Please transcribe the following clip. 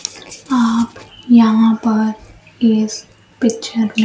आप यहां पर इस पिक्चर में--